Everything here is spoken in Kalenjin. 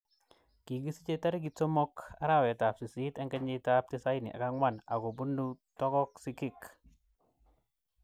Kikisiche tarikit 3 arawet ab sisit kenyit ab 1994 ako bunu Togo Sigik.